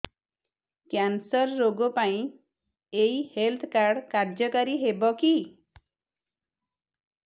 cancer ରୋଗ ପାଇଁ ଏଇ ହେଲ୍ଥ କାର୍ଡ କାର୍ଯ୍ୟକାରି ହେବ କି